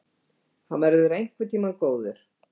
Hann verður einhvern tíma góður!